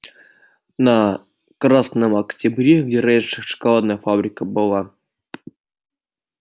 на красном октябре где раньше шоколадная фабрика была